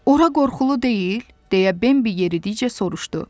Ora qorxulu deyil? – deyə Bembi yeridikcə soruşdu.